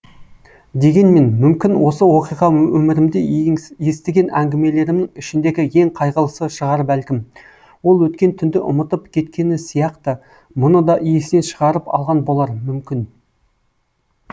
дегенмен мүмкін осы оқиға өмірімде естіген әңгімелерімнің ішіндегі ең қайғылысы шығар бәлкім ол өткен түнді ұмытып кеткені сияқты мұны да есінен шығарып алған болар мүмкін